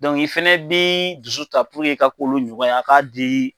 i fɛnɛ bi dusu ta i ka k'olu ɲɔgɔn ye a k'a di